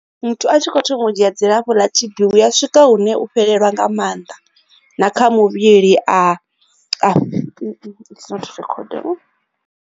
Muthu a tshi kho thoma u dzhia dzilafho ḽa T_B hu ya swika hune u fhelelwa nga maanḓa na kha muvhili a tshi kho a